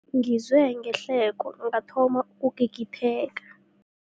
Ngizwe ihleko ngathoma ukugigitheka.